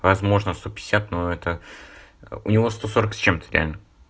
возможно сто пятьдесят но это у него сто сорок с чем-то реально